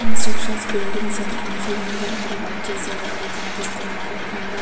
Constructions buildings మనుషులందరూ అక్కడ work చేసే వాళ్ళ కనిపిస్తున్నారు. అందరూ --